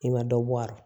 I ma dɔ bɔ a rɔ